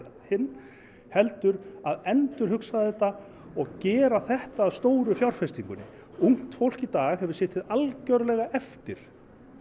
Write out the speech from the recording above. hinn heldur að endurhugsa þetta og gera þetta að stóru fjárfestingunni ungt fólk í dag hefur setið algerlega eftir